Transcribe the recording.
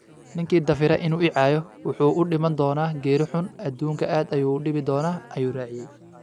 "Ninkii dafira inuu i caayo, wuxuu u dhiman doonaa geeri xun, aduunka aad ayuu u dhibi doonaa" ayuu raaciyay.